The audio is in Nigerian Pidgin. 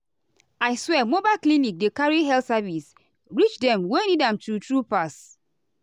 i swear mobile clinic dey carry health service reach dem wey need am true- true pass.